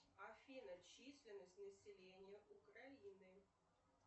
афина численность населения украины